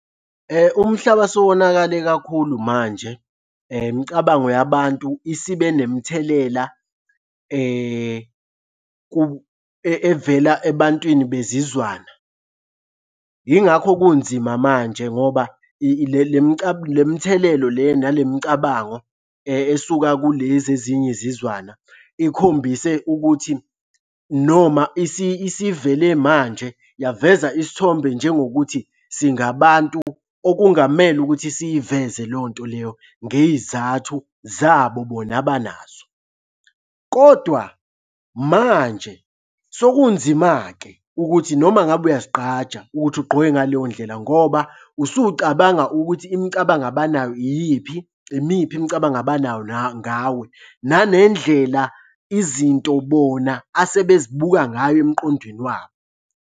Umhlaba sewonakale kakhulu manje. Imicabango yabantu isibe nemithelela evela ebantwini besizwana. Yingakho kunzima manje ngoba le mithelelo le nale micabango esuka kulezi ezinye izizwana ikhombise ukuthi noma isivele manje yaveza isithombe njengokuthi singabantu okungamele ukuthi siyiveze leyo nto leyo ngey'zathu zabo bona abanazo, kodwa manje sekunzima-ke ukuthi noma ngabe uyazigqaja ukuthi ugqoke ngaleyo ndlela ngoba usucabanga ukuthi imicabango abanayo iyiphi. Imiphi imicabango abanayo ngawe, nanendlela izinto bona asebezibuka ngayo emqondweni wabo.